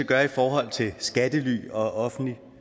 gøre i forhold til skattely og offentligt